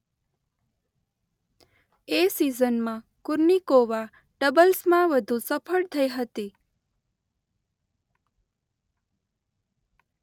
એ સિઝનમાં કુર્નિકોવા ડબલ્સમાં વધુ સફળ થઈ હતી.